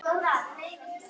Mig hlakkar svo til þegar.